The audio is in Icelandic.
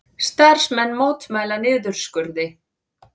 Starfsmenn mótmæla niðurskurði